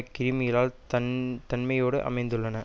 criminal தன் தன்மையோடும் அமைந்துள்ளன